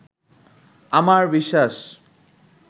আমার বিশ্বাস